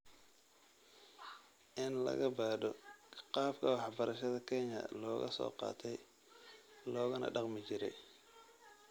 In la baadho qaabka waxbarashada Kenya looga soo qaatay loogana dhaqmi jiray.